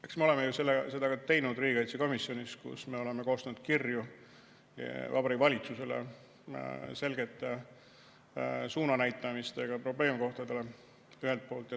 Eks me oleme seda ju ka teinud riigikaitsekomisjonis, kus me oleme koostanud kirju Vabariigi Valitsusele selge suunanäitamisega probleemkohtadele, ühelt poolt.